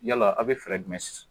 Yala aw bɛ jumɛn ?